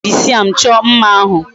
Eji weed siam cho mma ahu